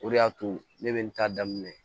O de y'a to ne bɛ n ta daminɛ